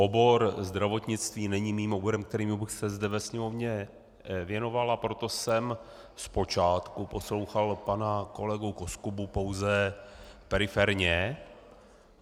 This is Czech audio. Obor zdravotnictví není mým oborem, kterému bych se zde ve Sněmovně věnoval, a proto jsem zpočátku poslouchal pana kolegu Koskubu pouze periferně.